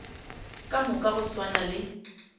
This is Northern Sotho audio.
ka moka go swana le